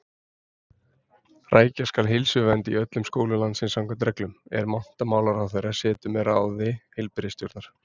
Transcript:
Rækja skal heilsuvernd í öllum skólum landsins samkvæmt reglum, er menntamálaráðherra setur með ráði heilbrigðisstjórnar.